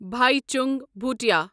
Bhaichung Bhutia